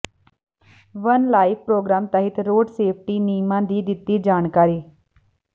one life programme ਤਹਿਤ road safety ਨਿਯਮਾਂ ਦੀ ਦਿੱਤੀ ਜਾਣਕਾਰੀ